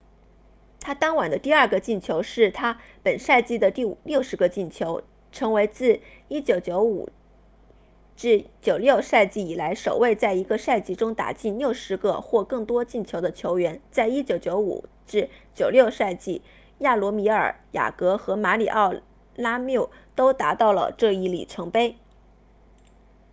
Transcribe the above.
他当晚的第二个进球是他本赛季的第60个进球成为自 1995-96 赛季以来首位在一个赛季中打进60个或更多进球的球员在 1995-96 赛季亚罗米尔雅格和马里奥拉缪都达到了这一里程碑